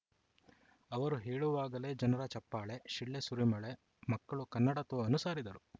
ಅವರು ಹೇಳುವಾಗಲೇ ಜನರ ಚಪ್ಪಾಳೆ ಶಿಳ್ಳೆ ಸುರಿಮಳೆ ಮಕ್ಕಳು ಕನ್ನಡತ್ವವನ್ನು ಸಾರಿದರು